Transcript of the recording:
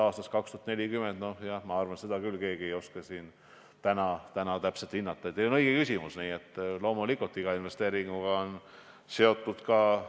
Vastav uuring ja aruanne tuleb vastaval valdkonnal, Rahandusministeeriumil ja Eesti Energial loomulikult enne lõpliku investeeringu tegemist veel üle vaadata.